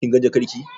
Kin ga jakar ki?